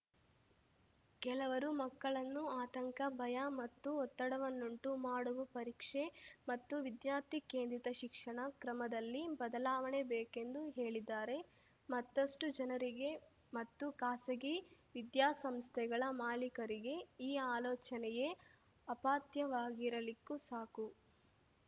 ಕೆಲವರು ಮಕ್ಕಳನ್ನು ಆತಂಕ ಭಯ ಮತ್ತು ಒತ್ತಡವನ್ನುಂಟು ಮಾಡುವ ಪರೀಕ್ಷೆ ಮತ್ತು ವಿದ್ಯಾರ್ಥಿ ಕೇಂದ್ರಿತ ಶಿಕ್ಷಣ ಕ್ರಮದಲ್ಲಿ ಬದಲಾವಣೆ ಬೇಕೆಂದು ಹೇಳಿದ್ದಾರೆ ಮತ್ತಷ್ಟುಜನರಿಗೆ ಮತ್ತು ಖಾಸಗಿ ವಿದ್ಯಾಸಂಸ್ಥೆಗಳ ಮಾಲೀಕರಿಗೆ ಈ ಆಲೋಚನೆಯೇ ಅಪಥ್ಯವಾಗಿರಲಿಕ್ಕೂ ಸಾಕು